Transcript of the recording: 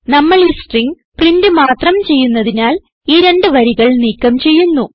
നമ്മൾ ഈ string print മാത്രം ചെയ്യുന്നതിനാൽ ഈ രണ്ട് വരികൾ നീക്കം ചെയ്യുന്നു